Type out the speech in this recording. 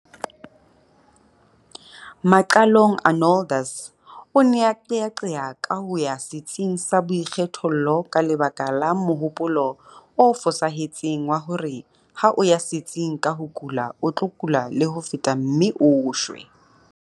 Maqalong Arnoldus o ne a qeaqea ka ho ya setsing sa boikgethollo ka lebaka la mohopolo o fosahetseng wa hore ha o ya setsing ka o kula o tlo kula le ho feta mme o shwe.